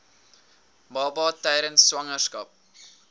baba tydens swangerskap